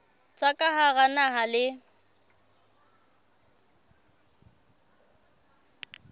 tsa ka hara naha le